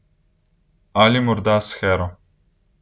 Ali morda s Hero ...